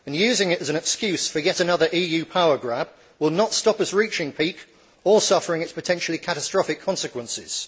Using it as an excuse for yet another EU power grab will not stop us reaching peak or suffering its potentially catastrophic consequences.